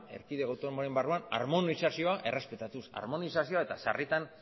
erkidego autonomoaren barruan armonizazioa errespetatuz armonizazioa eta sarritan